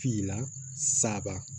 Finna saba